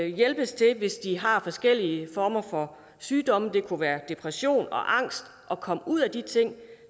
hjælpes til hvis de har forskellige former for sygdomme det kunne være depression og angst at komme ud af de ting